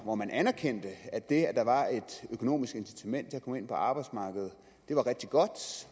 hvor man anerkendte at det at der var et økonomisk incitament til at komme ind på arbejdsmarkedet var rigtig godt